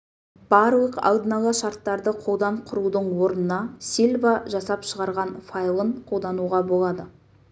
барлық алдын ала шарттарды қолдан құрудың орнына сильва жасап шығарған файлын қолдануға болады